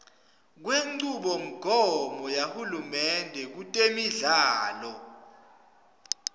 kwenchubomgomo yahulumende kutemidlalo